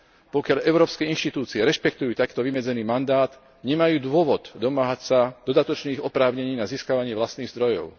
Pokiaľ európske inštitúcie rešpektujú takto vymedzený mandát, nemajú dôvod domáhať sa dodatočných oprávnení na získavanie vlastných zdrojov.